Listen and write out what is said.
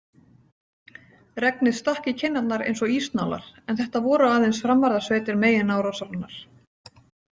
Regnið stakk í kinnarnar eins og ísnálar en þetta voru aðeins framvarðarsveitir meginárásarinnar.